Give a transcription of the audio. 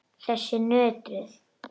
Þessar nöðrur!